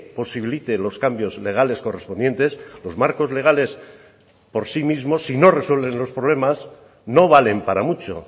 posibilite los cambios legales correspondientes los marcos legales por sí mismo si no resuelven los problemas no valen para mucho